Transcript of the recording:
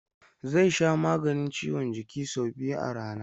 Zai sha maganin ciwon jiki sau biyu a rana.